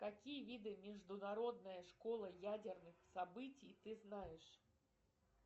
какие виды международная школа ядерных событий ты знаешь